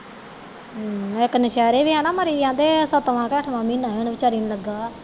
ਹਮਮ ਇੱਕ ਨੁਸ਼ਹਿਰੇ ਵੀ ਹੈ ਨਾ ਮਰੀ ਆਹਂਦੇ ਸੱਤਵਾਂ ਕੇ ਅੱਠਵਾਂ ਮਹੀਨੇ ਹੀ ਓਹਨੂੰ ਵਿਚਾਰੀ ਨੂੰ ਲੱਗਾ